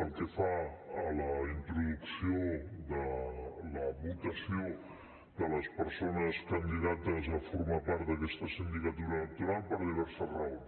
pel que fa a la introducció de la votació de las persones candidates a formar part d’aquesta sindicatura electoral per diverses raons